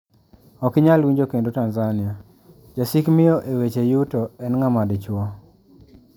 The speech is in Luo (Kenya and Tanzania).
Ok inyal winjo kendo Tanzania: Jasik miyo e weche yuto en ng`ama dichwo.